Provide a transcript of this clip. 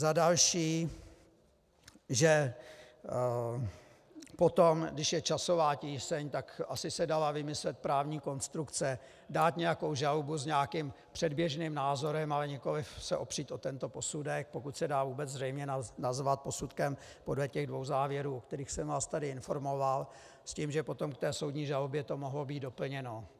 Za další, že potom, když je časová tíseň, tak asi se dala vymyslet právní konstrukce, dát nějakou žalobu s nějakým předběžným názorem, ale nikoliv se opřít o tento posudek, pokud se dá vůbec zřejmě nazvat posudkem podle těch dvou závěrů, o kterých jsem vás tady informoval, s tím, že potom v té soudní žalobě to mohlo být doplněno.